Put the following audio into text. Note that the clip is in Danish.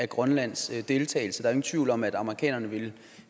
grønlands deltagelse der ingen tvivl om at amerikanerne ville